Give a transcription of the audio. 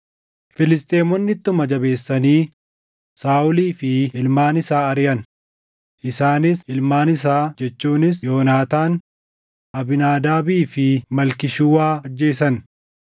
Filisxeemonni ittuma jabeessanii Saaʼolii fi ilmaan isaa ariʼan; isaanis ilmaan isaa jechuunis Yoonaataan, Abiinaadaabii fi Malkii-Shuwaa ajjeesan.